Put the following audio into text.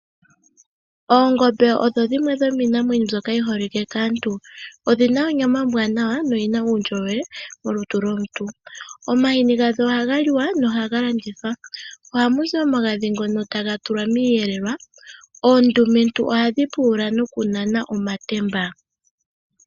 Oongombe odho dhimwe dhomiinamwenyo mbyoka yi holike kaantu. Odhi na onyama ombwanawa noyi na uundjolowele molutu lwomuntu. Omahini gadho ohaga liwa nohaga landithwa. Ohamu zi omagadhi ngono taga tulwa miiyelelwa. Oondumentu ohadhi pulula nokunana omatemba.